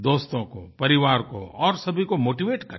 दोस्तों को परिवार को और सभी को मोटीवेट करें